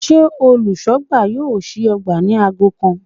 Sé olùsógbà yóò sí ogbà ni ago kan?